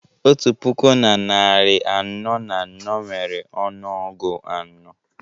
otu puku na narị anọ na anọ nwere ọnụọgụ anọ